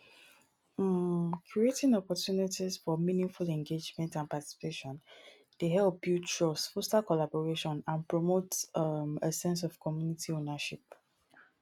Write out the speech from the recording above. um creating opportunities for meaningful engagement and participation dey help build trust foster collaboration and promote um a sense of community owernership.